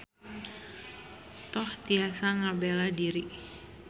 Toh tiasa ngabela diri.